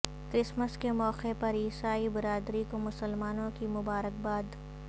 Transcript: Christmas کے موقع پر عیسائی برادری کو مسلمانوں کی مبارکباد